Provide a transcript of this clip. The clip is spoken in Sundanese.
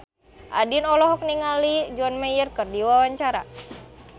Andien olohok ningali John Mayer keur diwawancara